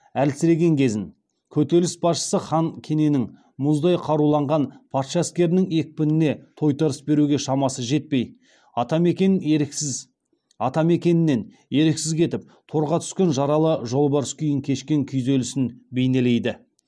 әлсіреген кезін көтеріліс басшысы хан кененің мұздай каруланған патша әскерінің екпініне тойтарыс беруге шамасы жетпей атамекенінен еріксіз кетіп торға түскен жаралы жолбарыс күйін кешкен күйзелісін бейнелейді